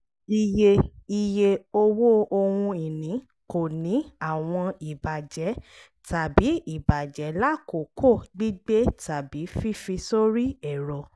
iye iye owó ohun ìní kò ní àwọn ìbàjẹ́ tàbí ìbàjẹ́ lákòókò gbígbé tàbí fífi sórí ẹ̀rọ